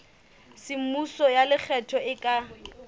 semmuso ya lekgetho e ka